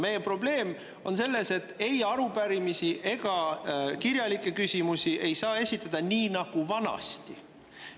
Meie probleem on selles, et ei arupärimisi ega kirjalikke küsimusi ei saa esitada nii nagu vanasti.